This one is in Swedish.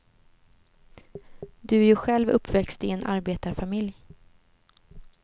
Du är ju själv uppväxt i en arbetarfamilj.